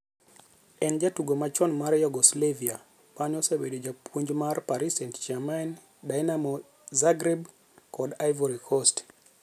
En jatugo machon mar Yugoslavia mane osebedo japuonjmar Paris St-Germain, Dinamo Zagreb kod Ivory Coast.